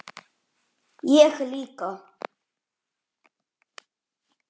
Ég líka.